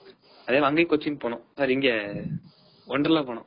அதுனால அங்கையே கொச்சின் போனோம் sorry இங்க wonderla போனோம்.